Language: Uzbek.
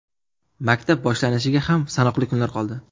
Maktab boshlanishiga ham sanoqli kunlar qoldi.